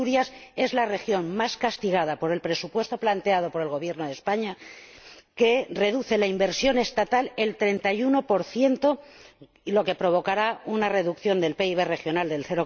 Asturias es la región más castigada por el presupuesto planteado por el Gobierno de España, que reduce la inversión estatal un 31 lo que provocará una reducción del PIB regional del